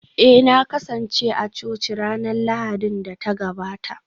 Eh na kasance a coci ranar Lahadin da ta gabata